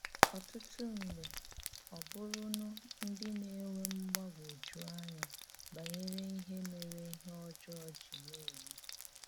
Ọ̀tụtụ̀ mgbe, ọ̀bụ̀rụ̀rụ̀ ndí na-ènwè mgbàgwújù ànyà bànyèrè íhè mèrè íhè ọjọọ jì na-ème.